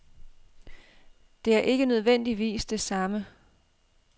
Det er ikke nødvendigvis det samme.